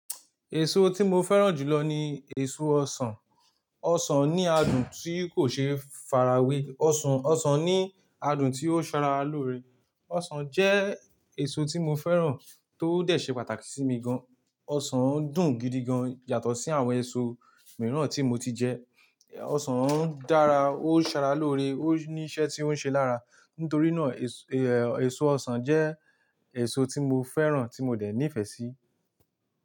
Èso tí mo fẹ́ràn jù lọ ni èso ọsàn. Ọsàn ní adùn tí kò ṣe é farawé. Ọsàn, ọsàn ní adùn tí ó ṣara lóore. Ọsàn jẹ́ èso tí mo fẹ́ràn tó dẹ̀ ṣe pàtàkì sí mi gan. Ọsàn dùn gidi gan, yàtọ̀ sí àwọn èso mìíràn tí mo ti jẹ. Ọsàn dára, ó ṣara lóore, ó ní iṣẹ́ tí ó ń ṣe lára. Nítorí náà, èso ọsàn jẹ́ èso tí mo fẹ́ràn, tí mo dẹ̀ nífẹ̀ẹ́ sí.